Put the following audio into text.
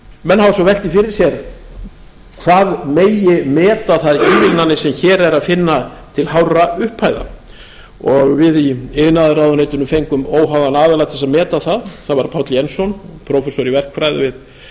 menn hafa svo velt því fyrir sér hvað megi meta það sem hér er að finna til hárra upphæða við í iðnaðarráðuneytinu fengum óháðan aðila til að meta það það var páll jensson prófessor í verkfræði við